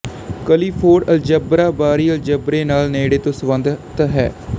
Clifford algebra ਬਾਹਰੀ ਅਲਜਬਰੇ ਨਾਲ ਨੇੜੇ ਤੋਂ ਸਬੰਧਤ ਹੈ